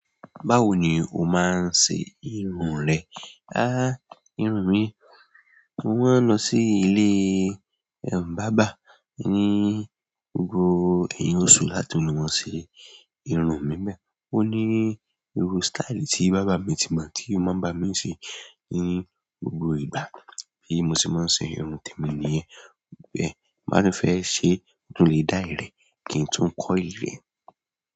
Báwo ni o máa ń ṣe ìrun rẹ? Irun mi, mo máa ń lọ sí ilé barber ní gbogbo ẹ̀yìn oṣù láti lọ ṣe irun mi ńbẹ̀. Ó ní irú style tí barber mi ti mọ̀ tí ó máa ń bá mi ṣe ní gbogbo ìgbà bí mo ṣe máa ń ṣe irun tèmi nìyẹn bẹ́ẹ̀ tí bá dẹ̀ fẹ́ ṣe mo tún le dye rẹ̀ kí n tún coil ẹ̀.